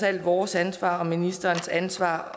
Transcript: alt vores ansvar og ministerens ansvar